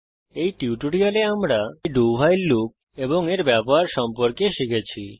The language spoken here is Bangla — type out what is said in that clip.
এই টিউটোরিয়ালে আমরা ভাইল লুপ এবং এর ব্যবহার শিখেছি